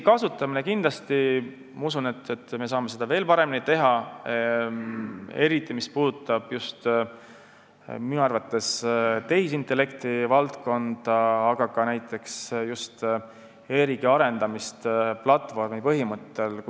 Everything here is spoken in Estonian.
Ma usun, et me saame seda veel paremini teha, eriti, mis puudutab tehisintellekti valdkonda, aga ka näiteks e-riigi arendamist platvormi põhimõttel.